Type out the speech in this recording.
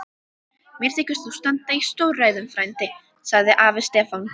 Mér þykir þú standa í stórræðum frændi, sagði afi Stefán.